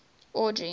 audrey